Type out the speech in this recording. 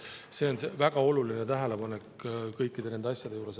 See on väga oluline tähelepanek kõikide nende asjade juures.